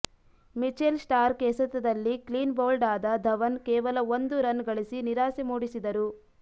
Mitchell Starc ಎಸೆತದಲ್ಲಿ clean bowled ಆದ ಧವನ್ ಕೇವಲ ಒಂದು ರನ್ ಗಳಿಸಿ ನಿರಾಸೆ ಮೂಡಿಸಿದರು